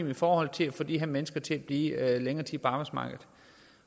og i forhold til at få de her mennesker til at blive længere tid på arbejdsmarkedet